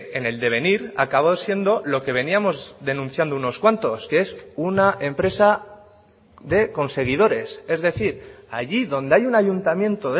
en el devenir acabó siendo lo que veníamos denunciando unos cuantos que es una empresa de conseguidores es decir allí donde hay un ayuntamiento